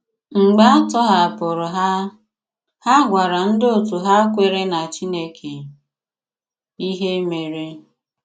Mgbe a tọ̀hapụrụ̀ ha, ha gwàrà ndị otú hà kwèré na Chineke ihe mèrè.